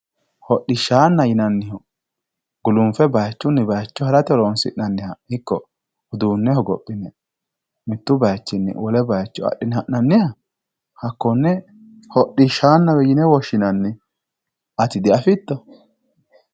hodhishaana yinannihu gulunffe baayiichunni bayiicho harate horonsi'nanniha ikko uduune hogophine mittu bayiichinni wole bayiicho axxine ha'nanniha hakkonne hodhishshaanawe yine woshshinanni ati di'afitto